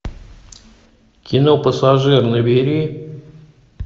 кино пассажир набери